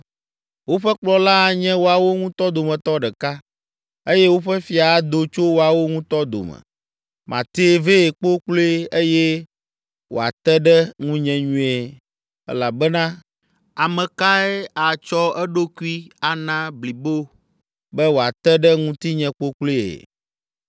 Woƒe kplɔla anye woawo ŋutɔ dometɔ ɖeka eye woƒe fia ado tso woawo ŋutɔ dome. Matee vɛ kpokploe eye wòate ɖe ŋunye nyuie. Elabena ame kae atsɔ eɖokui ana blibo be wòate ɖe ŋutinye kpokploe?